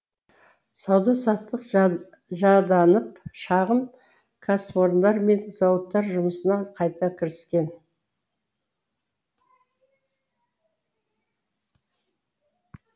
сауда саттық жанданып шағын кәсіпорындар мен зауыттар жұмысына қайта кіріскен